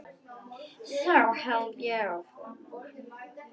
Þá held ég áfram.